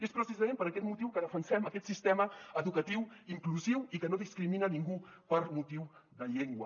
és precisament per aquest motiu que defensem aquest sistema educatiu inclusiu i que no discrimina a ningú per motius de llengua